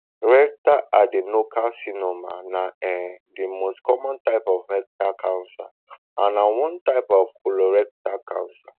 rectal adenocarcinoma na um di most common type of rectal cancer and na one type of colorectal cancer